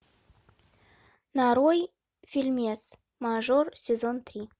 нарой фильмец мажор сезон три